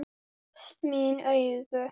Tárast mín augu.